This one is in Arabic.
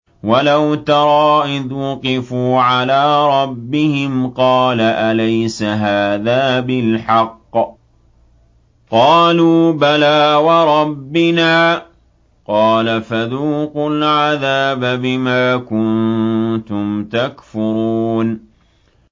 وَلَوْ تَرَىٰ إِذْ وُقِفُوا عَلَىٰ رَبِّهِمْ ۚ قَالَ أَلَيْسَ هَٰذَا بِالْحَقِّ ۚ قَالُوا بَلَىٰ وَرَبِّنَا ۚ قَالَ فَذُوقُوا الْعَذَابَ بِمَا كُنتُمْ تَكْفُرُونَ